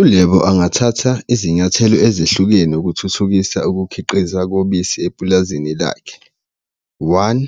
ULebo angathatha izinyathelo ezehlukene ukuthuthukisa ukukhiqiza kobisi epulazini lakhe, one,